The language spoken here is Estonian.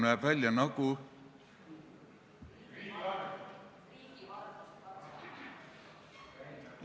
Näeb välja nagu ...?